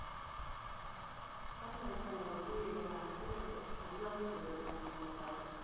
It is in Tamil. ஆமா இப்போ நான் வந்து எங்க அத்தை தஞ்சாவூர் side இருக்காங்க எங்க அத்தை